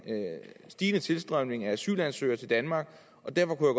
stigende tilstrømning af asylansøgere til danmark og derfor kunne